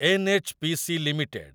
NHPC. Limited